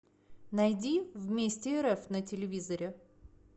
найди вместе рф на телевизоре